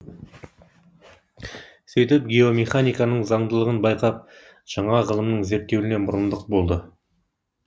сөйтіп геомеханиканың заңдылығын байқап жаңа ғылымның зерттелуіне мұрындық болды